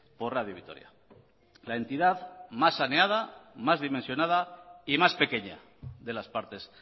por radio vitoria la entidad más saneada más dimensionada y más pequeña de las partes